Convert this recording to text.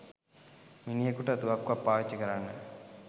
මිනිහෙකුට තුවක්කුවක් පාවිච්චි කරන්න